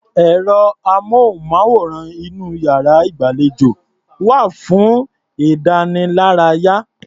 Ẹ̀rọ-amóhùnmáwòrán inú iyàrá-ìgbàlejò wà fún ìdánilárayá.